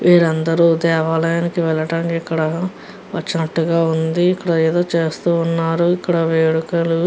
వేళ్ళు అందరూ దేవాలయం కి వెళ్ళటానికి ఇక్కడ వచినట్టుగా ఉంది. ఇక్కడ ఏదో చేస్తున్నారు. ఇక్కడ వేడుకలు --